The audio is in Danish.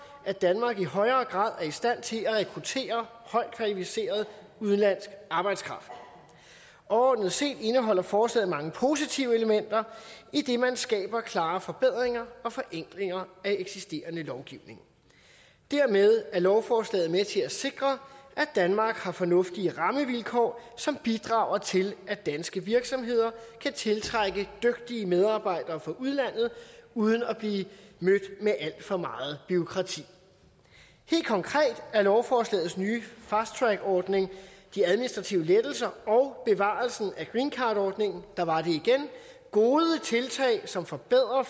at danmark i højere grad er i stand til at rekruttere højt kvalificeret udenlandsk arbejdskraft overordnet set indeholder forslaget mange positive elementer idet man skaber klare forbedringer og forenklinger af eksisterende lovgivning dermed er lovforslaget med til at sikre at danmark har fornuftige rammevilkår som bidrager til at danske virksomheder kan tiltrække dygtige medarbejdere fra udlandet uden at blive mødt med alt for meget bureaukrati helt konkret er lovforslagets nye fasttrackordning de administrative lettelser og bevarelsen af greencardordningen der var det igen gode tiltag som forbedrer